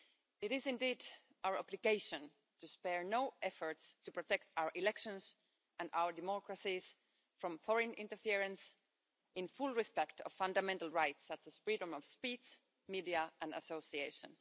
It is indeed our obligation to spare no efforts to protect our elections and our democracies from foreign interference, in full respect of fundamental rights, such as freedom of speech, media and association.